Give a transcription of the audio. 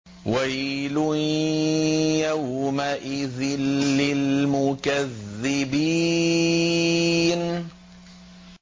وَيْلٌ يَوْمَئِذٍ لِّلْمُكَذِّبِينَ